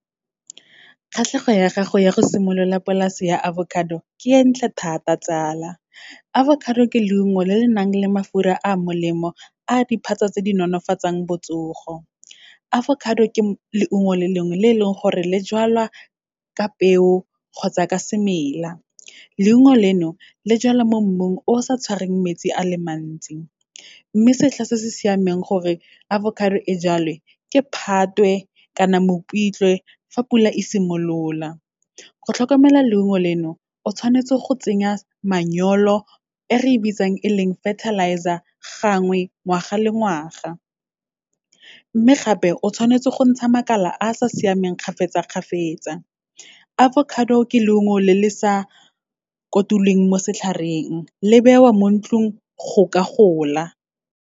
Kgatlhego ya gago ya go simolola polase ya avocado, ke e ntle thata tsala. Avocado ke leungo le le nang le mafura a molemo, a diphatsa tse di nolofatsang botsogo. Avocado ke leungo le lengwe, le e leng gore le jalwa ka peo kgotsa ka semela. Leungo leno, le jalwa mo mmung o sa tshwareng metsi a le mantsi. Mme setlha se se siameng gore avocado e jalwe, ke Phatwe kana Mopitlwe, fa pula e simolola. Go tlhokomela leungo leno, o tshwanetse go tsenya manyolo, e re e bitsang e leng fertilizer gangwe, ngwaga le ngwaga. Mme gape, o tshwanetse go ntsha makala a sa siameng kgafetsa-kgafetsa. Avocado ke leungo le le sa kotulweng mo setlhareng, le bewa mo ntlung go ka gola.